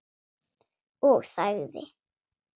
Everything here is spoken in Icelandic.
Og þagði.